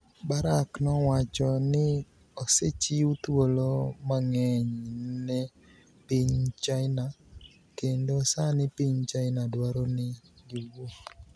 Barak nowacho nii osechiw thuolo manig'eniy ni e piniy Chinia kenido sanii piniy Chinia dwaro nii giwuo. ''